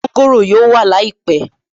Mọ́ńgòrò yóò wà láìpẹ̀